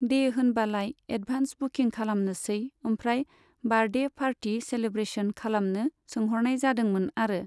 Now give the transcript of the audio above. दे होनबालाय एडभान्स बुखिं खालामनोसै ओमफ्राय बारडे फारथि सेलेब्रेस'न खालामनो सोंहरनाय जादोंमोन आरो।